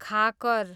खाकर